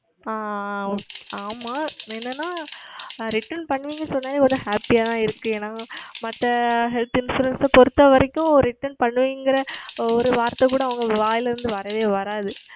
ஆஹ் ஆமாம் என்னவென்றால் Return செய்வீர்கள் என்ற உடன் ஒரே Happy ஆக தான் இருக்கிறது ஏனால் மற்ற Health Insurance பொருத்த வரைக்கும் Return செய்வோம் அப்படி என்கிற ஓர் வார்த்தை கூட அவர்கள் வாயில் இருந்து வரவே வராது